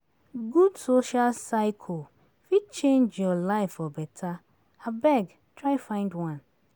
Good social circle fit change your life for beta; abeg, try find one.